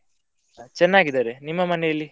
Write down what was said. ಹ ಚೆನ್ನಾಗಿದ್ದಾರೆ, ನಿಮ್ಮ ಮನೆಯಲ್ಲಿ?